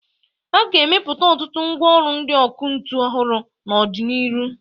A ga-emepụta ọtụtụ mgwa ọlụ ndị ọkụ ntu ọhụrụ n'ọ dị n'iru.